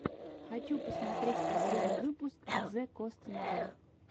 хочу посмотреть последний выпуск зэкостнайн